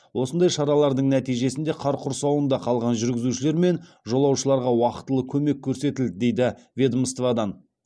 осындай шаралардың нәтижесінде қар құрсауында қалған жүргізушілер мен жолаушыларға уақтылы көмек көрсетілді дейді ведомстводан